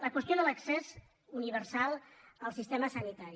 la qüestió de l’accés universal al sistema sanitari